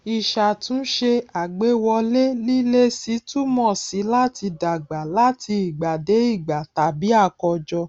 ìṣàtúnṣe àgbéwọlé lílési túmọ sí láti dàgbà láti ìgbà dé ìgbà tàbí àkọjọ